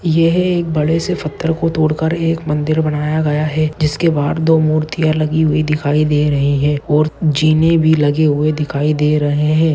यह एक बड़ेसे पत्थर को थोडकर एक मन्दिर बनाया गया है जिसके बाहर दो मूर्तिया लगी हुई दिखाई दे रही है और जीने भी लगी हुई दिखाई दे रहे है।